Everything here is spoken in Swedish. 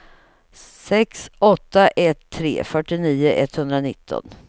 sex åtta ett tre fyrtionio etthundranitton